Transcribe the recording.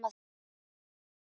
Mamma þín